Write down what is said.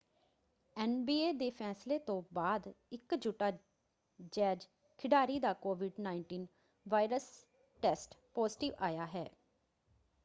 NBA ਦੇ ਫੈਸਲੇ ਤੋਂ ਬਾਅਦ ਇੱਕ ਯੂਟਾ ਜੈਜ਼ ਖਿਡਾਰੀ ਦਾ ਕੋਵਿਡ-19 ਵਾਇਰਸ ਟੈਸਟ ਪਾਜ਼ੀਟਿਵ ਆਇਆ ਹੈ।